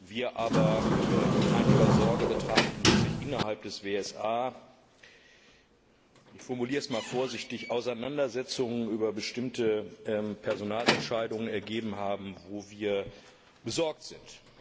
wir aber mit einiger Sorge betrachten, dass sich innerhalb des WSA ich formuliere es einmal vorsichtig Auseinandersetzungen über bestimmte Personalentscheidungen ergeben haben, wo wir besorgt sind.